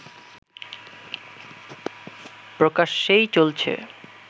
প্রকাশ্যেই চলছে